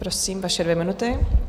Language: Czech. Prosím, vaše dvě minuty.